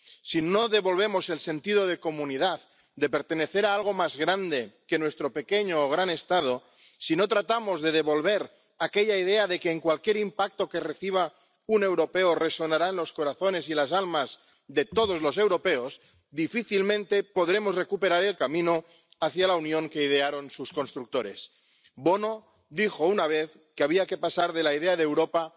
Si no devolvemos el sentido de comunidad, de pertenecer a algo más grande que nuestro pequeño o gran Estado, si no tratamos de devolver aquella idea de que cualquier impacto que reciba un europeo resonará en los corazones y las almas de todos los europeos, difícilmente podremos recuperar el camino hacia la Unión que idearon sus constructores. Bono dijo una vez que había que pasar de la idea de Europa